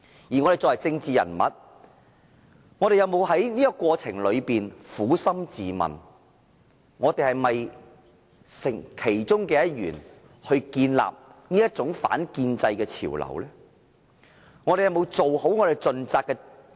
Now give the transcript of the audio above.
我們作為政治人物，有否在這個過程中撫心自問，我們是否促成這種反建制潮流的其中一分子呢？